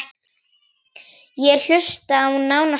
Ég hlusta á: nánast allt